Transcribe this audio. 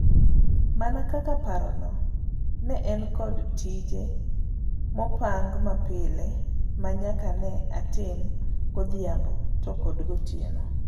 Mana kaka parono, ne an kod tije mopang mapile manyaka ne atim godhiambo to kod gotieno.